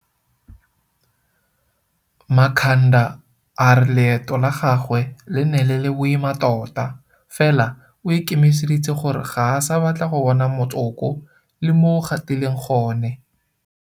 Makhanda a re leeto la gagwe le ne le le boima tota, fela o ikemiseditse gore ga a sa batla go bona motsoko le mo o gatileng gone.